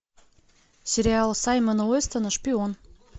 сериал саймона уэстона шпион